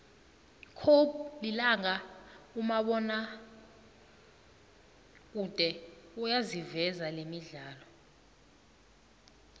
cobe lilanga umabonakude uyayiveza lemidlalo